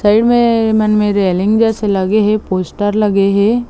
Side मे मन में रेलिंग बस लगे हे पोस्टर लगे हे ।